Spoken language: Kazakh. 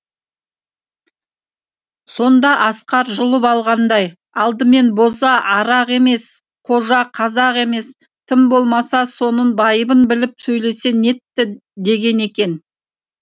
сонда асқар жұлып алғандай алдымен боза арақ емес қожа қазақ емес тым болмаса соның байыбын біліп сөйлесең етті деген екен